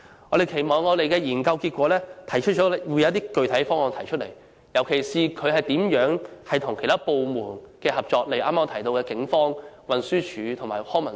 我們期望研究結果會提出一些具體方案，尤其是如何與其他部門合作，例如我剛才提到的警方、運輸署及康文署。